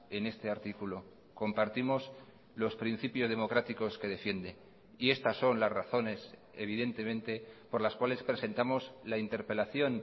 en este artículo compartimos los principios democráticos que defiende y estas son las razones evidentemente por las cuales presentamos la interpelación